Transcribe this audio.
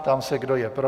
Ptám se, kdo je pro.